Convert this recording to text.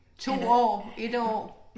Han er